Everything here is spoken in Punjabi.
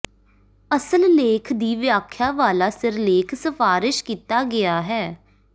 ਅਸਲ ਲੇਖ ਦੀ ਵਿਆਖਿਆ ਵਾਲਾ ਸਿਰਲੇਖ ਸਿਫਾਰਸ਼ ਕੀਤਾ ਗਿਆ ਹੈ